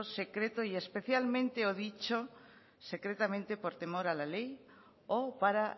secreto y especialmente o dicho secretamente por temor a la ley o para